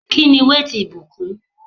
Kíni weight ìbùkún?